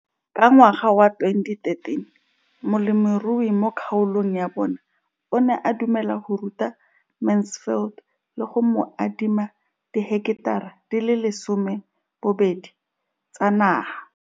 Ka ngwaga wa 2013, molemirui mo kgaolong ya bona o ne a dumela go ruta Mansfield le go mo adima di heketara di le 12 tsa naga.